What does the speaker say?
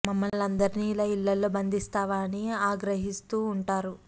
మమ్మల్నందరినీ ఇలా ఇళ్లలో బంధిస్తావా అని ఆ గ్రహి స్తూ ఉంటారు